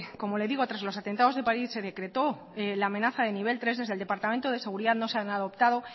como le digo tras los atentados de parís se decretó la amenaza de nivel tres desde el departamento de seguridad no se han adoptado